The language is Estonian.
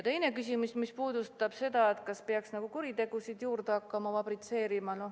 Teine küsimus puudutas seda, kas peaks nagu kuritegusid juurde hakkama fabritseerima.